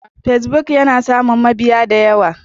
Facebook yana samun mabiya da yawa.